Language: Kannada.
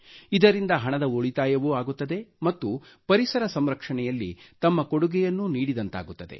ಇದರಿಂದ ಹಣದ ಉಳಿತಾಯವೂ ಆಗುತ್ತದೆ ಮತ್ತು ಪರಿಸರ ಸಂರಕ್ಷಣೆಯಲ್ಲಿ ತಮ್ಮ ಕೊಡುಗೆಯನ್ನೂ ನೀಡಿದಂತಾಗುತ್ತದೆ